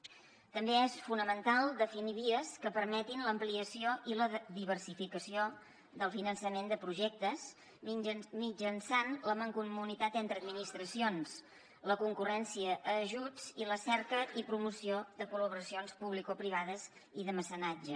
també és fonamental definir vies que permetin l’ampliació i la diversificació del finançament de projectes mitjançant la mancomunitat entre administracions la concurrència a ajuts i la cerca i promoció de col·laboracions publicoprivades i de mecenatge